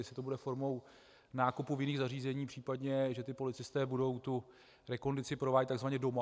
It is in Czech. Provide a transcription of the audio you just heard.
Jestli to bude formou nákupu v jiných zařízeních, případně že ti policisté budou tu rekondici provádět takzvaně doma.